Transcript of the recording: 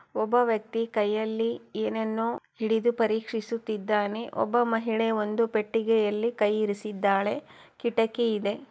ಒಬ್ಬ ವ್ಯಕ್ತಿ ಕೈಯಲ್ಲಿ ಏನನ್ನೋ ಹಿಡಿದು ಪರೀಕ್ಷಿಸುತ್ತಿದ್ದಾನೆ ಒಬ್ಬ ಮಹಿಳೆ ಒಂದು ಪೆಟ್ಟಿಗೆಯಲ್ಲಿ ಕೈ ಇರಿಸಿದ್ದಾಳೆ ಕಿಟಕಿ ಇದೆ.